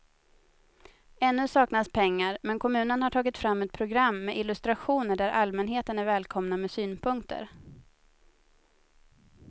Ännu saknas pengar men kommunen har tagit fram ett program med illustrationer där allmänheten är välkomna med synpunkter.